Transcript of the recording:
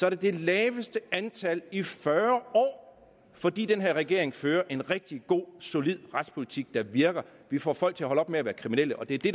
er det laveste i fyrre år fordi den her regering fører en rigtig god solid retspolitik der virker vi får folk til at holde op med at være kriminelle og det er det